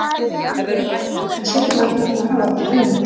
Hann pælir, ekki seinna vænna að fara að hafa þetta á hreinu.